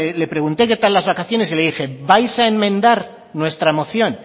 le pregunté qué tal las vacaciones y le dije vais a enmendar nuestra moción